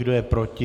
Kdo je proti?